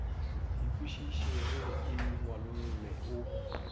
e kwešišege e ngwalolle o